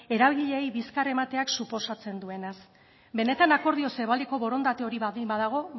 eragileei bizkarra emateak suposatzen duenaz benetan akordio zabaleko borondate hori baldin badago